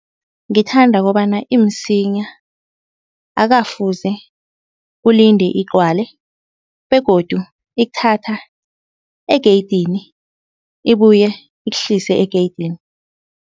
Ngithanda kobana imsinya, akafuze ulinde igcwale begodu ikuthatha egeyidini ibuye ikuhlise egeyidini.